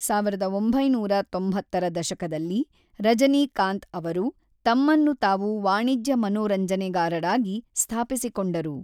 ಸಾವಿರದ ಒಂಬೈನೂರ ತೊಂಬತ್ತರ ದಶಕದಲ್ಲಿ ರಜನಿಕಾಂತ್ ಅವರು ತಮ್ಮನ್ನು ತಾವು ವಾಣಿಜ್ಯ ಮನೋರಂಜನೆಗಾರರಾಗಿ ಸ್ಥಾಪಿಸಿಕೊಂಡರು.